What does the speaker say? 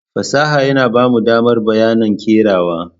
Fasaha yana ba mu damar bayyana kerawa.